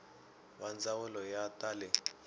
va ndzawulo ya ta le